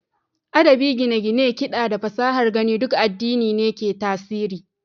Adabi, gine-gine, kiɗa, da fasahar gani duk addini ne ke tasiri.